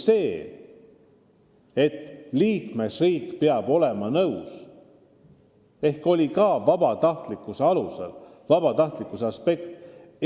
See peab käima vabatahtlikkuse alusel, vabatahtlikkuse aspekt on tähtis.